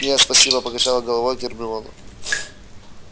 нет спасибо покачала головой гермиона